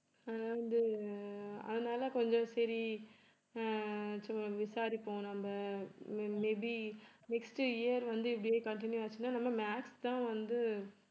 நான் வந்து அதனாலே கொஞ்சம் சரி ஆஹ் சும்மா விசாரிப்போம் நம்ம may be next year வந்து இப்படியே continue ஆச்சுன்னா நம்ம maths தான் வந்து